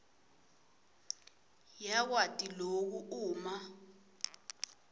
yakwati loku uma